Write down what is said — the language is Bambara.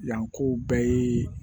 Yanko bɛɛ ye